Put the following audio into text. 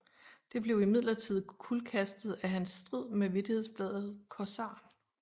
Det blev imidlertid kuldkastet af hans strid med vittighedsbladet Corsaren